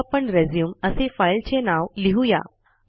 आता आपण रिझ्यूम असे फाईलचे नाव लिहू या